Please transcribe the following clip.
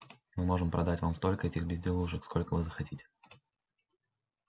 мы можем продать вам столько этих безделушек сколько вы захотите